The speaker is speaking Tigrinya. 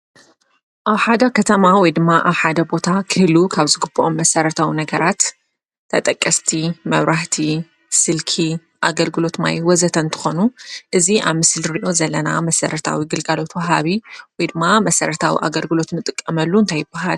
ኣብ ከተማ ወይ ድማ ኣብ ቦታ ክህልው ካብ ዝግበኦም መሰረታዊ ነገራት ተጠቀስቲ መብራህቲ፣ ስልኪ፣ ኣገልግሎት ማይ ወዘተ እንትኾኑ እዚ ኣብ ምስሊ ንሪኦ ዘለና መሰረታዊ ግልጋሎት ወሃቢ መሰረታዊ ግልጋሎት እንጥቀመሉ እንታይ ይበሃል:: መሰረታዊ ግልጋሎት